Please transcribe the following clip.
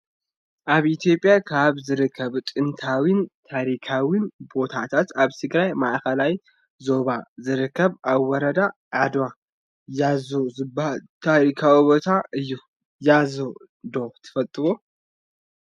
ኣብ ኢትዮጰያ ካብ ዝርከቡ ጥንታውያን ታሪካውያን ቦታት ኣብ ትግራይ ማእከላይ ዞባ ዝርከብ ኣብ ወረዳ ኣድዋ ያሓ ዝበሃል ታሪካዊ ቦታ እዩ ያሓ ዶ ትፈልጥዋ?